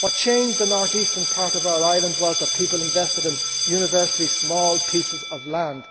What changed the north eastern part of our island was that people invested in universally small pieces of land.